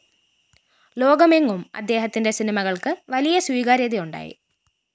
ലോകമെങ്ങും അദ്ദേഹത്തിന്റെ സിനിമകള്‍ക്ക് വലിയ സ്വീകാര്യതയുണ്ടായി